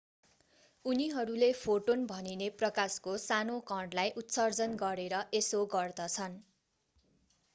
उनीहरूले फोटोन भनिने प्रकाशको सानो कणलाई उत्सर्जन गरेर यसो गर्दछन्